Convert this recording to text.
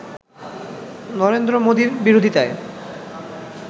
নরেন্দ্র মোদীর বিরোধিতায়